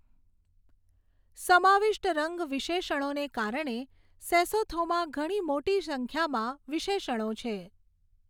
સમાવિષ્ટ રંગ વિશેષણોને કારણે સેસોથોમાં ઘણી મોટી સંખ્યામાં વિશેષણો છે.